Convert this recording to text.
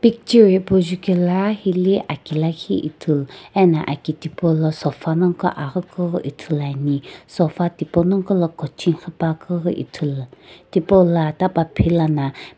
picture hipau jukela hili aki lakhi ithulu ena aki tipau la sofa nongqo aghi kughi ithulu ani sofa tipaunongqo la cochi quipuakeu kughu ithulu tipaula ita paphilana.